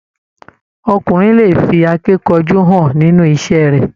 Ọkùnrin lè fí akínkanjú hàn nínú iṣẹ rẹ.